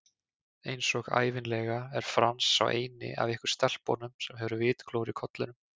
Einsog ævinlega er Franz sá eini af ykkur stelpunum sem hefur vitglóru í kollinum